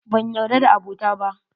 Banyarda da abota ba.